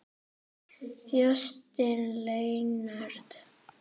Justin Leonard